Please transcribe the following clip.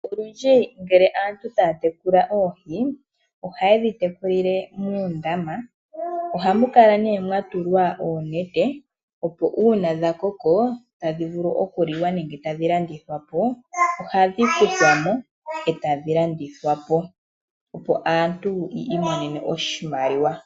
Olundji ngele aantu taya tekula oohi, oha yedhi teku lile moondama. Ohamu kala nee mwa tulwa oonete opo uuna dha koko tadhi vulu oku liwa nenge tadhi landithwa po, ohadhi kuthwa mo etadhi landithwa po opo aantu yi imonene oshimaliwa.